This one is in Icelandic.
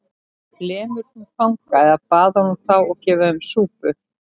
Lemur hún fanga eða baðar hún þá og gefur þeim súpu?